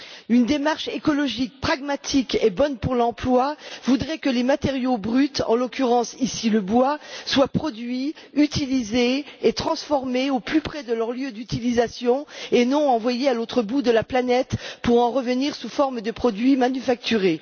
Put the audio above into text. Une démarche écologique pragmatique et bonne pour l'emploi voudrait que les matériaux bruts, en l'occurrence le bois, soient produits, utilisés et transformés au plus près de leur lieu d'utilisation et non envoyés à l'autre bout de la planète pour en revenir sous forme de produits manufacturés.